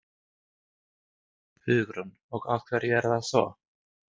Hugrún: Og af hverju er það svo?